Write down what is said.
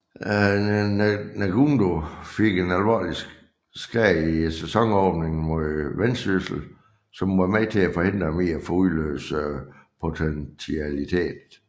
Ndungu fik en alvorlig skade i sæsonåbningen mod Vendsyssel som var med til at forhindre ham i få udløst potentialitet